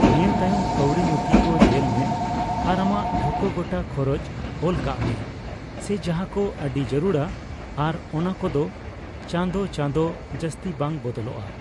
ᱱᱤᱭᱟᱹ ᱛᱟᱭᱚᱢ, ᱠᱟᱹᱣᱰᱤ ᱱᱩᱛᱷᱤ ᱠᱚ ᱧᱮᱞᱢᱮ ᱟᱨ ᱟᱢᱟᱜ ᱴᱷᱟᱹᱣᱠᱟᱹ ᱜᱚᱴᱟ ᱠᱷᱚᱨᱚᱪ ᱚᱞᱠᱟᱜᱼᱢᱮ, ᱥᱮ ᱡᱟᱦᱟᱸᱠᱚ ᱟᱹᱰᱤ ᱡᱟᱹᱨᱩᱲᱟ ᱟᱨ ᱚᱱᱟᱠᱚᱫᱚ ᱪᱟᱸᱫᱳ ᱪᱟᱸᱫᱳ ᱡᱟᱹᱥᱛᱤ ᱵᱟᱝ ᱵᱚᱫᱚᱞᱚᱜᱼᱟ ᱾